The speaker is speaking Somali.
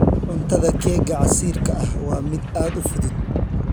Cuntada keega casiirka ah waa mid aad u fudud.